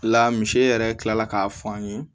La misi yɛrɛ kilala k'a fɔ an ye